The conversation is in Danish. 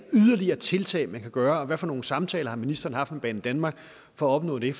yderligere tiltag man kan gøre og hvad for nogle samtaler har ministeren haft med banedanmark for at opnå det